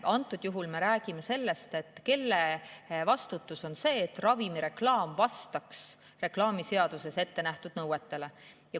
Antud juhul me räägime sellest, kelle vastutus on see, et ravimireklaam vastaks reklaamiseaduses ettenähtud nõuetele.